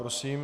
Prosím.